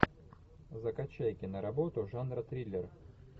закачай киноработу жанра триллер